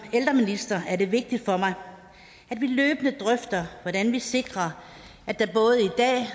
ældreminister er det vigtigt for mig at vi løbende drøfter hvordan vi sikrer at der både i dag og